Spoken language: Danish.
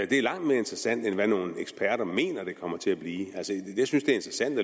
det er langt mere interessant end hvad nogle eksperter mener det kommer til at blive jeg synes det